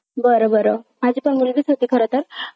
बरं बरं. माझी पण मुलगीच होती खरं तर